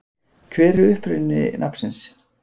Hver er uppruni nafnsins?